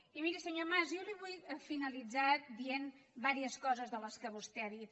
i miri senyor mas jo vull finalitzar dient li diverses coses de les que vostè ha dit